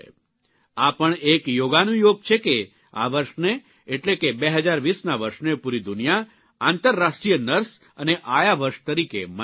આ પણ એક યોગાનુયોગ છે કે આ વર્ષને એટલે કે ૨૦૨૦ના વર્ષને પૂરી દુનિયા આંતરરાષ્ટ્રીય નર્સ અને આયા વર્ષ તરીકે મનાવી રહી છે